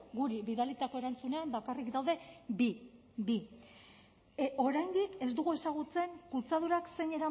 guri bidalitako erantzunean bakarrik daude bi bi oraindik ez dugu ezagutzen kutsadurak zein